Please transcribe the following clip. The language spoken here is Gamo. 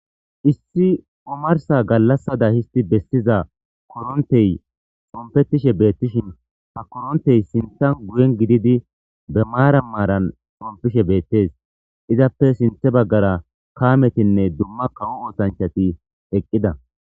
Issi umarsa gallassada histi bessiza korontey xompetishe beettishin ha korontey sintan guyen gididi be maara maaran xompishe beettes izappe sinthe baggara kaametinne dumma kawo ootanchati eqqida